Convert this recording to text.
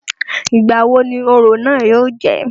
Ìgbà wo ni orò náà yóò jẹ́?